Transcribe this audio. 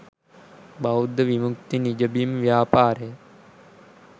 බෞද්ධ විමුක්ති නිජබිම් ව්‍යාපාරය